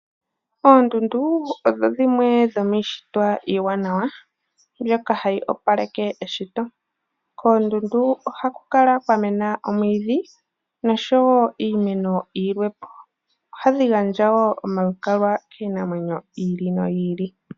Oondundu odho dhimwe dhomiishitwa iiwanawa mbyoka hayi opaleke eshito. Kondundu ohaku kala kwamena omwiidhi nosho wo iimeno yilwe po. Ohadhi gandja woo omalukalwa kiinamwenyo yi ili noyi ili.